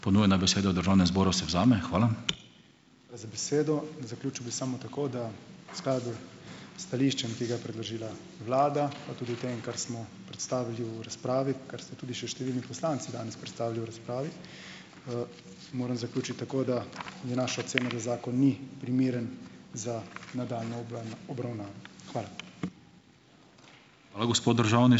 Hvala za besedo. Zaključil bi samo tako, da skladu s stališčem, ki ga je predložila vlada, pa tudi v tem, kar smo predstavili v razpravi, kar ste tudi še številni poslanci danes predstavili v razpravi, moram zaključiti tako, da je naša ocena, da zakon ni primeren za nadaljnjo obravnavo. Hvala.